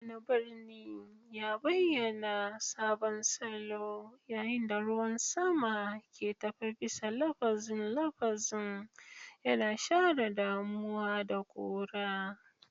Wani birni ya bayyana sabon salo yayin da ruwan sama ke tafe bisa lafazin lafazin, yana share damuwa da ƙura.